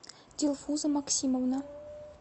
дилфуза максимовна